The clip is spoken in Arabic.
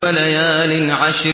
وَلَيَالٍ عَشْرٍ